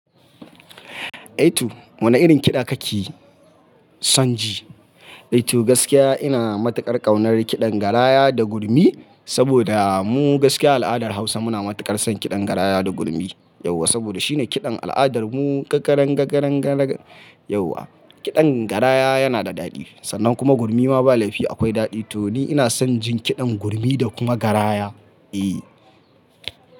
Aitu wane irin kiɗa kake son ji? Aitu gaskiya ina matuƙar ƙaunar kiɗan garaya da gurmi saboda mu gaskiya al'adar Hausa muna matuƙar son kiɗan garaya da gurmi yauwa saboda shine kiɗan al'adar mu kakarangakarangarak yauwa. Kiɗan garaya yana da daɗi sannan kuma gurmi ma ba laifi akwai daɗi to ni ina son jin kiɗan gurmi da kuma garaya, eh.